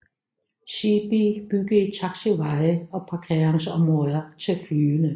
Seebee byggede taxiveje og parkeringsområder til flyene